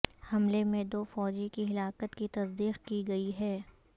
حملے میں دو فوجی کی ہلاکت کی تصدیق کی گئی ہے